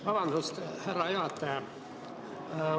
Vabandust, härra juhataja!